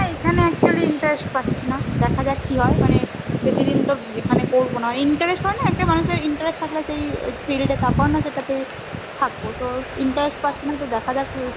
আর এখানে actually interest পাচ্ছি না দেখা যাক কি হয় মানে বেশিদিন তো এখানে করবো না interest হয়না একটা মানুষের interest থাকলে একটা field এ তারপরে না যেটা তে থাকবো interest পাচ্ছিনা তো দেখা যাক